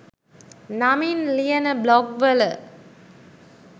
නමින් ලියන බ්ලොග් වල.